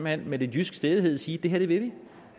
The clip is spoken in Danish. hen med lidt jysk stædighed sige det her vil vi